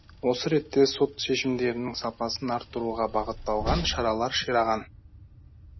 осы ретте сот шешімдерінің сапасын арттыруға бағытталған шаралар шираған